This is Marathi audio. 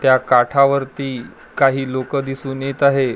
त्या काठावरती काही लोक दिसून येत आहे.